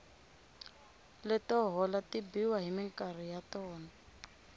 leto hola ti biwa hi minkarhi ya tona